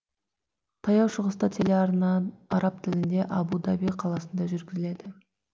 таяу шығыста телеарна араб тілінде абу даби қаласынан жүргізіледі